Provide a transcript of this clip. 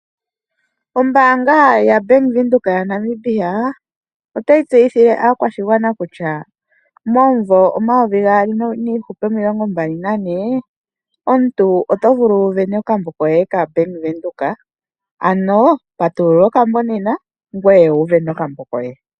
Ombaanga yaBank Windhoek yaNamibia otayi tseyithile aakwashigwana kutya momumvo omayovi gaali niihupe omilongo mbalinane omuntu oto vulu okusindana okambo koye kaBank Windhoek ano patulula okambo nena, ngoye wusindane okambo koye.